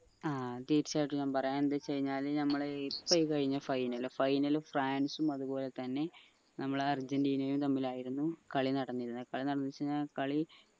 ആ തീർച്ചയായിട്ടും ഞാൻ പറയാ എന്ത് വെച് കയിഞ്ഞ ഞമ്മള് ഇപ്പൊ ഈ കഴിഞ്ഞ final final ഫ്രാൻസും അത്പോലെ തന്നെ നമ്മളെ അർജന്റീനയും തമ്മിലായിരുന്നു കളി നടന്നിരുന്നേ കളി നടന്നു വെച്ച കളി